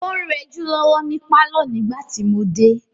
ó ń rẹjú lọ́wọ́ ni pálọ̀ nígbà tí mo dé.